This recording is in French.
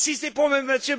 Si c'est pour M.